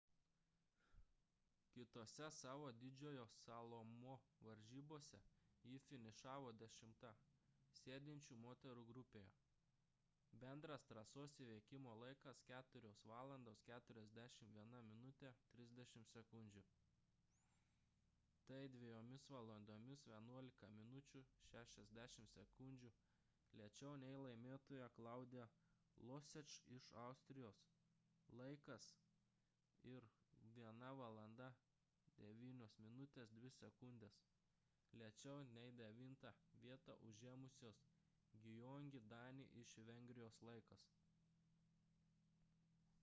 kitose savo didžiojo slalomo varžybose ji finišavo dešimta sėdinčių moterų grupėje – bendras trasos įveikimo laikas 4:41.30. tai 2:11.60 min. lėčiau nei laimėtojos claudia loesch iš austrijos laikas ir 1:09.02 min. lėčiau nei devintą vietą užėmusios gyöngyi dani iš vengrijos laikas